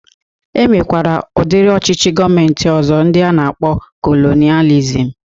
E nwekwere udiri ọchịchị gọọmenti ọzọ ndi a na-akpọ kolonializm